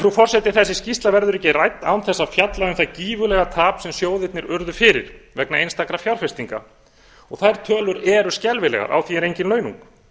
frú forseti þessi skýrsla verður ekki rædd án þess að fjalla um það gífurlega tap sem sjóðirnir urðu fyrir vegna einstakra fjárfestinga og þær tölur eru skelfilegar á því er engin launung